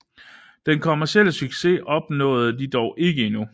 Den kommercielle succes opnåede de dog ikke endnu